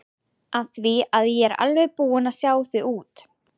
Af því að ég er alveg búin að sjá þig út.